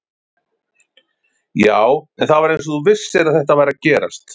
Já, en það var eins og þú vissir að þetta væri að gerast